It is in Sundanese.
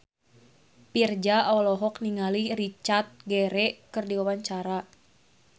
Virzha olohok ningali Richard Gere keur diwawancara